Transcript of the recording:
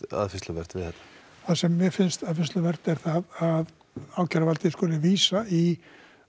aðfinnsluvert við þetta það sem mér finnst aðfinnsluvert er það að ákæruvaldið skyldi vísa í